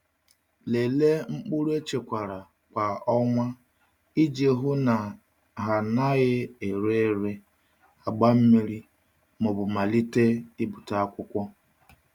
Lelee mkpụrụ echekwara kwa um ọnwa iji hụ na ha anaghị ere ere, agba mmiri, ma ọ bụ malite um ibute akwụkwọ.